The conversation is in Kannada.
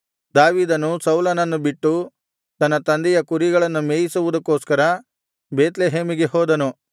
ದಾವೀದನು ಸೌಲನನ್ನು ಬಿಟ್ಟು ತನ್ನ ತಂದೆಯ ಕುರಿಗಳನ್ನು ಮೇಯಿಸುವುದಕ್ಕೋಸ್ಕರ ಬೇತ್ಲೆಹೇಮಿಗೆ ಹೋದನು